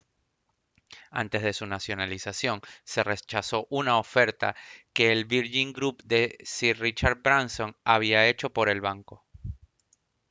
antes de su nacionalización se rechazó una oferta que el virgin group de sir richard branson había hecho por el banco